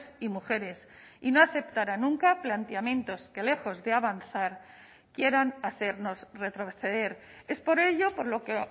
y mujeres y no aceptará nunca planteamientos que lejos de avanzar quieran hacernos retroceder es por ello por lo que